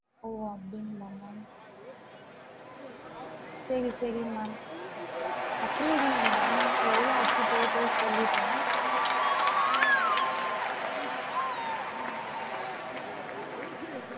ஓ அப்டிங்களா ma'am சேரி சேரி ma'am அப்டியே இருங்க ma'am எவ்வளோ ஆச்சு total சொல்லிட்றேன்